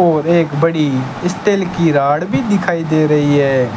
और एक बड़ी स्टील की राड भी दिखाई दे रही है